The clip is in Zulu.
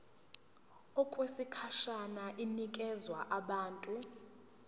okwesikhashana inikezwa abantu